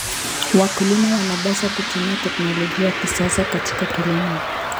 Wakulima wanapaswa kutumia teknolojia ya kisasa katika kilimo.